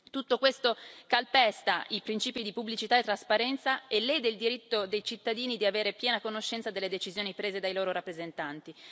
Tutto questo calpesta i principi di pubblicità e trasparenza e lede il diritto dei cittadini di avere piena conoscenza delle decisioni prese dai loro rappresentanti.